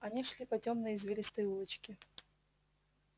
они шли по тёмной извилистой улочке